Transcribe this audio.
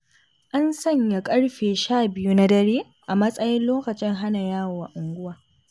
An sanya ƙarfe 12 na dare a matsayin lokacin hana yawo a unguwa.